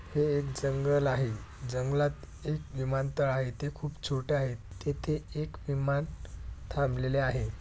हे एक जंगल आहे जंगलात एक विमानतळ आहे ते खूप छोटे आहेत तेथे एक विमान थांबलेले आहे.